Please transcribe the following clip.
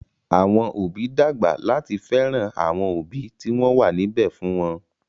Àwọn òbí ń dàgbà láti fẹ́ràn àwọn òbí tí wọ́n wà níbẹ̀ fún wọn